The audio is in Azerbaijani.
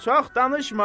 Çox danışma!